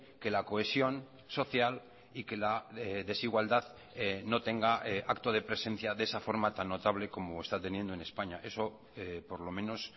que la cohesión social y que la desigualdad no tenga acto de presencia de esa forma tan notable como está teniendo en españa eso por lo menos